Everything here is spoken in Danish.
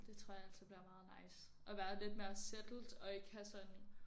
Det tror jeg altså bliver meget nice at være lidt mere settled og ikke have sådan